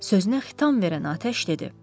Sözünə xitam verən atəş dedi: